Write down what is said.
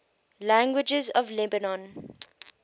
languages of lebanon